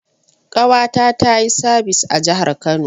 Ƙawata tayi sabis a jahar Kano